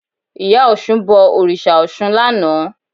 Ìyá Ọ̀ṣun bọ òrìṣà Ọ̀ṣun lánàá